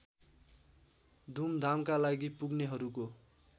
घुमघामका लागि पुग्नेहरूको